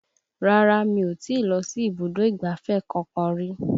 Rárá mi ò tí lọ sí ibùdó ìgbáfẹ́ kankan rí